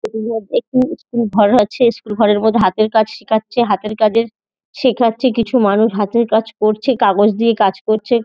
একটি স্কুল ঘর আছে। স্কুল ঘরের মধ্যে হাতের কাজ শিখাচ্ছে। হাতের কাজের শেখাচ্ছে। কিছু মানুষ হাতের কাজ করছে কাগজ দিয়ে কাজ করছে।